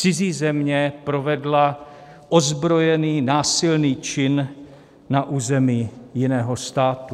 Cizí země provedla ozbrojený, násilný čin na území jiného státu.